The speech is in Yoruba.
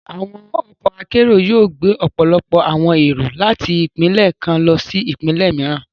Àwọn ọkọ akero yóò gbe ọpọlọpọ awọn ero láti ipinlẹ kàn lọsí ipinlẹ mìíràn.